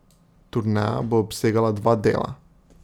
Turneja bo obsegala dva dela.